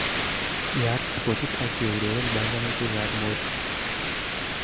Yaat spotit ak keureren banganutikab motu